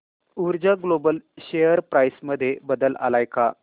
ऊर्जा global share price मध्ये बदल आलाय का